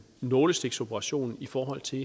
nålestiksoperation i forhold til